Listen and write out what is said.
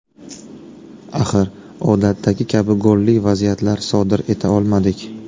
Axir, odatdagi kabi golli vaziyatlar sodir eta olmadik.